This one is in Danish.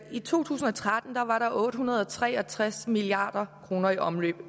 i to tusind og tretten var var der otte hundrede og tre og tres milliard kroner i omløb